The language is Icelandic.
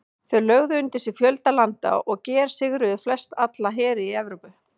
Þeir lögðu undir sig fjölda landa og gersigruðu flestalla heri Evrópu.